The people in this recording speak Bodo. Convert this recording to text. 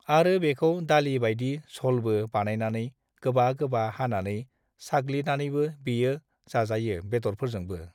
आरो बेखौ दालि बायदि झलबो बानायनानै गोबा गोबा हानानै साग्लिनानैबो बेयो जाजायो बेदरफोरजोंबो।